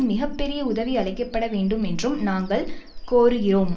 மிக பெரிய உதவி அளிக்க பட வேண்டும் என்றும் நாங்கள் கோருகிறோம்